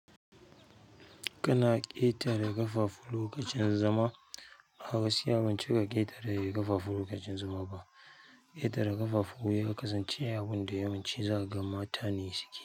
Kana ƙetare ƙafafu lokacin zama. Gaskiya ban cika ƙetare ƙafafu lokacin zama ba ƙetare ƙafafu ya kasance abun da yawanci za ka ga mata ne suke yi.